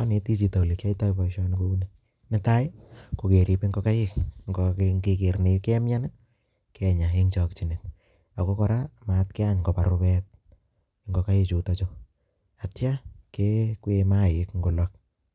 aneti chito ale kiaitai poishoni kuni. netai, kokerip ngokaik ngeger negemyany kenya eng chakchiney ako kora matkeyan kopar rupet ngokaik chutochu ak kora kekwwee maik ngolok